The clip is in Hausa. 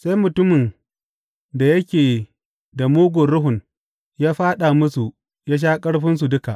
Sai mutumin da yake da mugun ruhun ya fāɗa musu ya sha ƙarfinsu duka.